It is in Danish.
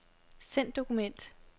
Send dokument.